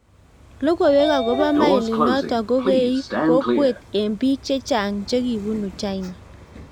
logoweik okobo molinoto kokeii kokwet eng biik chechang chekibunu China